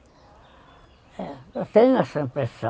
Eu tenho essa impressão.